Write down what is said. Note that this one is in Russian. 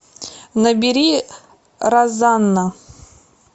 набери розанна